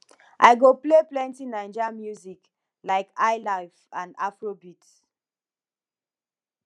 i go play plenty naijas music like highlife and afrobeat